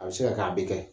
A bɛ se ka kɛ a bɛ kɛ